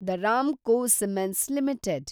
the Ramco cements limited